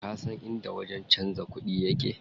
Kasan inda wajen canza kuɗi yake?